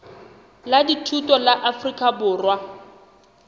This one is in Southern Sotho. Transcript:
la dithuto la afrika borwa